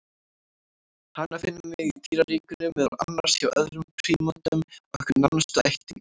Hana finnum við í dýraríkinu, meðal annars hjá öðrum prímötum, okkar nánustu ættingjum.